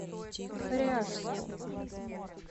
ряжску